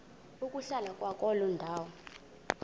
ukuhlala kwakuloo ndawo